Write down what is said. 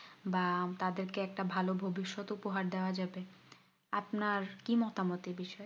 বা তাদের একটা ভালো ভবিষ্যত উপহার দেওয়া যাবে আপনার কি মতামত এই বিষয়ে